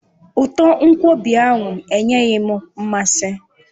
Uto nkwobi ahụ enyeghị m mmasị